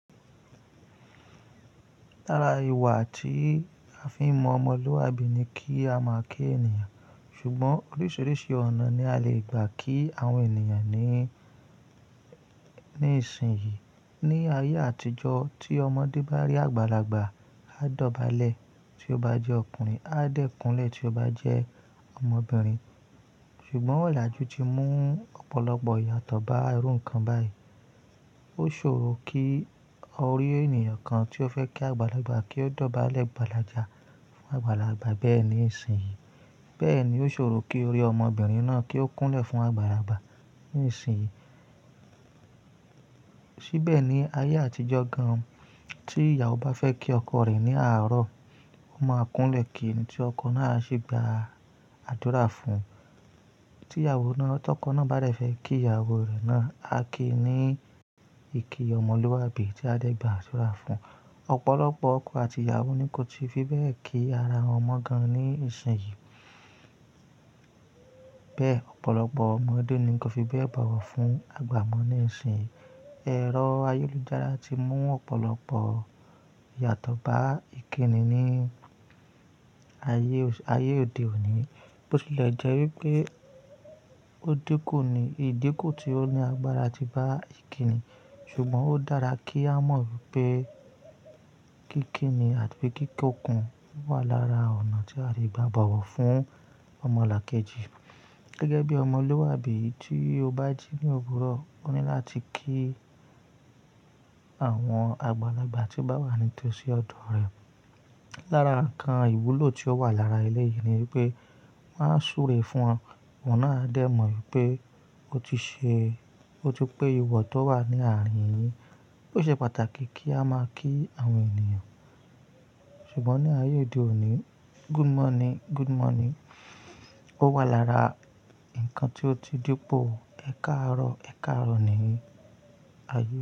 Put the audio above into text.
Lára ìwà tí a fi ń mọ ọmọlúwàbí ni kí a máa kí ènìyàn. Ṣùgbọ́n oríṣiríṣi ọ̀nà ni a lè gbà kí àwọn ènìyàn ní, ní ìsìn yìí. Ni ayé àtijọ́ tí ọmọdé bá rí àgbàlagbà, á dọ̀bálẹ̀ tí ó bá jẹ́ ọkùnrin, á dẹ́kùnlẹ̀ tí ó bá jẹ́ ọmọbìnrin. Ṣùgbọ́n ọ̀làjú ti mú ọ̀pọ̀lọpọ̀ ìyàtọ̀ bá irú nǹkan báyìí. Ó ṣòro kí o rí ènìyàn kan tí o fẹ́ kí àgbàlagbà kí ó dọ̀bálẹ̀ gbàlàjà fún àgbàlagbà bẹ́ẹ̀ ní ìsìn yìí. Bẹ́ẹ̀ ni ó ṣòro kí o rí ọmọbìnrin náà kí ó kúnlẹ̀ fún àgbàlagbà ní ìsìn yìí. Síbẹ̀ ni ayé àtijọ́ gan-an tí ìyàwó bá fẹ́ kí ọkọ rẹ̀ ní àárọ̀, ó máa kúnlẹ̀ kí ni tí ọkọ náà ṣe gba àdúrà fún. Tí ìyàwó náà tọkọ náà bá rẹ̀ fẹ́ kí ìyàwó rẹ̀ náà, a kí ní ìkí ọmọlúwàbí tí a dẹ́ gba àdúrà fún. Ọ̀pọ̀lọpọ̀ ọkọ àti ìyàwó ni kò tí fi bẹ́ẹ̀ kí ara wọn mọ gan ní ìsìn yìí. Bẹ́ẹ̀ ọ̀pọ̀lọpọ̀ ọmọdé ni kò tí fi bẹ́ẹ̀ bọ̀wọ̀ fún àgbà mọ ní ìsìn yìí. Ẹ̀rọ ayélujára ti mú ọ̀pọ̀lọpọ̀ ìyàtọ̀ bá ìkíni ní ayé ayé òde òní. Bo tilẹ̀ jẹ́ wípé ó dínkù ni, ìdínkù tí ó ní agbára ti bá ìkíni. Ṣùgbọ́n ó dára kí á mọ̀ wípé kíkíni àti pé kíkọ̀ọ̀kan wà lára ọ̀nà tí a lè gba bọ̀wọ̀ fún ọmọlàkejì. Gẹ́gẹ́ bí ọmọlúwàbí tí o bá jí ní òwúrọ̀, ó ní láti kí àwọn àgbàlagbà tí bá wà ní tòsí ọ̀dọ̀ rẹ̀. Lára ǹkan ìwúlò tí ó wà lára ilé yìí ni wípé máa súre fún wọn, wọn náà á dẹ mọ̀ wípé ó ti ṣe, ó ti pé ìwà tó wà ní àárín yìí. Ó ṣe pàtàkì kí a máa kí àwọn ènìyàn. Ṣùgbọ́n ní ayé òde òní, good morning, good morning. Ó wà lára ǹkan tí ó ti dípò ẹ̀kaàrọ̀ ẹ̀kaàrọ̀ ní ayé.